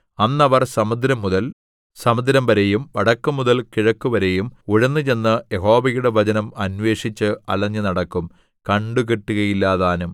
അന്ന് അവർ സമുദ്രംമുതൽ സമുദ്രംവരെയും വടക്കുമുതൽ കിഴക്കുവരെയും ഉഴന്നുചെന്ന് യഹോവയുടെ വചനം അന്വേഷിച്ച് അലഞ്ഞുനടക്കും കണ്ടുകിട്ടുകയില്ലതാനും